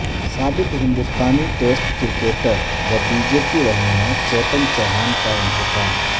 سابق ہندستانی test cricketer و بی جے پی رہنما چیتن چوہان کا انتقال